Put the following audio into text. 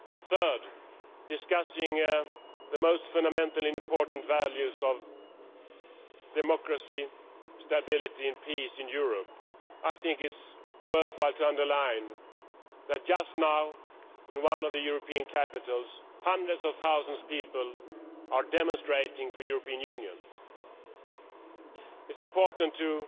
Third, discussing the most fundamental important values of democracy, stability and peace in Europe, I think it is worthwhile to underline that just now, in one of the European capitals, hundreds of thousands of people are demonstrating for the European Union. It is important to